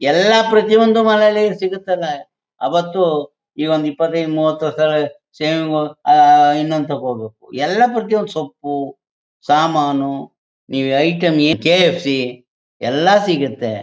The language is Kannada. ಎಲ್ಲ ಪ್ರತಿಒಂದು ಮನೆಯಲ್ಲಿ ಸಿಗುತಲ್ಲ ಅವತು ಇವಾಗ್ ಇಪ್ಪತೈದು ಮೂವತ್ತು ಶೇವಿಂಗ್ ಅಹ್ ಅಹ್ ಇನ್ನೊಂದು ತಗೋಬೋದು ಎಲ್ಲ ಪ್ರತಿಒಂದು ಸೊಪ್ಪು ಸಾಮಾನು ನೀವು ಐಟಂ ಏನ್ ಕೆ_ ಎಫ್ _ಸಿ_ ಎಲ್ಲ ಸಿಗುತ್ತೆ.